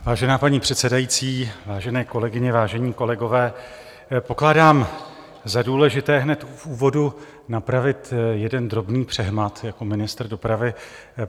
Vážená paní předsedající, vážené kolegyně, vážení kolegové, pokládám za důležité hned v úvodu napravit jeden drobný přehmat jako ministr dopravy.